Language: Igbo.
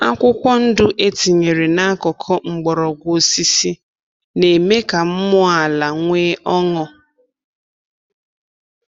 Akwụkwọ ndụ e tinyere n’akụkụ mgbọrọgwụ osisi na-eme ka mmụọ ala nwee ọṅụ.